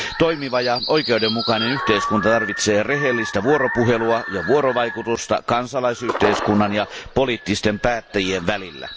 Toimiva ja oikeudenmukainen yhteiskunta tarvitsee rehellistä vuoropuhelua ja vuorovaikutusta kansalaisyhteiskunnan ja poliittisten päättäjien välillä.